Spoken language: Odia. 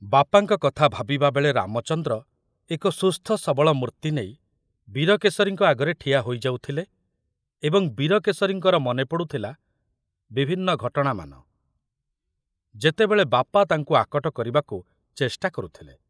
ବାପାଙ୍କ କଥା ଭାବିବାବେଳେ ରାମଚନ୍ଦ୍ର ଏକ ସୁସ୍ଥ ସବଳ ମୂର୍ତ୍ତି ନେଇ ବୀରକେଶରୀଙ୍କ ଆଗରେ ଠିଆ ହୋଇଯାଉଥିଲେ ଏବଂ ବୀରକେଶରୀଙ୍କର ମନେ ପଡ଼ୁଥିଲା ବିଭିନ୍ନ ଘଟଣାମାନ, ଯେତେବେଳେ ବାପା ତାଙ୍କୁ ଆକଟ କରିବାକୁ ଚେଷ୍ଟା କରୁଥିଲେ।